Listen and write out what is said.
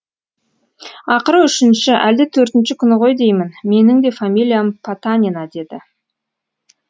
ақыры үшінші әлде төртінші күні ғой деймін менің де фамилиям потанина деді